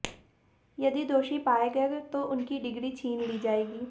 यदि दोषी पाए गए तो उनकी डिग्री छीन ली जाएगी